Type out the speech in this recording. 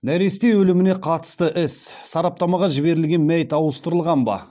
нәресте өліміне қатысты іс сараптамаға жіберілген мәйіт ауыстырылған ба